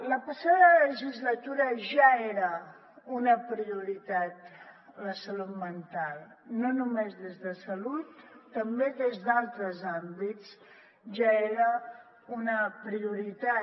la passada legislatura ja era una prioritat la salut mental no només des de salut també des d’altres àmbits ja era una prioritat